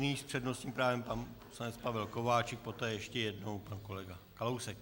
Nyní s přednostním právem pan poslanec Pavel Kováčik, poté ještě jednou pan kolega Kalousek.